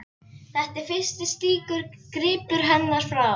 Þetta er fyrsti slíkur gripur hennar, frá